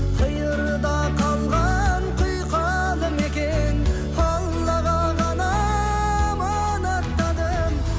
қиырда қалған құйқалы мекен аллаға ғана аманаттадым